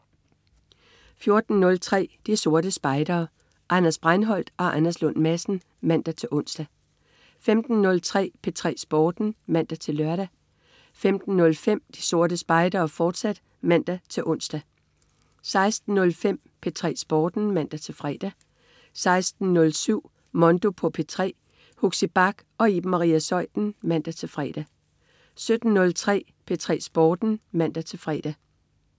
14.03 De Sorte Spejdere. Anders Breinholt og Anders Lund Madsen (man-ons) 15.03 P3 Sporten (man-lør) 15.05 De Sorte Spejdere, fortsat (man-ons) 16.05 P3 Sporten (man-fre) 16.07 Mondo på P3. Huxi Bach og Iben Maria Zeuthen (man-fre) 17.03 P3 Sporten (man-fre)